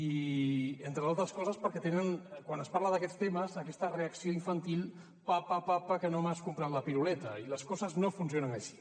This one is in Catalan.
i entre d’altres coses perquè tenen quan es parla d’aquests temes aquesta reacció infantil papa papa que no m’has comprat la piruleta i les coses no funcionen així